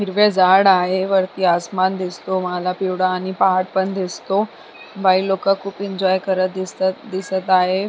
हिरवे झाड आहे वरती आसमान दिसतो मला पिवडा आणि पहाड पण दिसतो बाई लोक खूप एन्जॉय करत दिसत दिसत आहे.